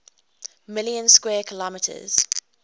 million square kilometers